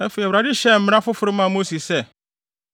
Afei Awurade hyɛɛ mmara foforo maa Mose sɛ: